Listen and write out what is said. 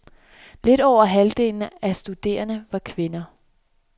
Lidt over halvdelen af studenterne var kvinder.